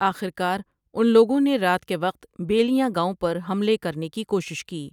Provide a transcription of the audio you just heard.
اخر کار ان لوگوں نے رات کے وقت بیلیاں گاوں پر حملے کرنے کی کوشش کی ۔